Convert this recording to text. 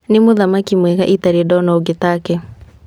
"Nĩ mũthaki mwega itarĩ ndona ũngi taake.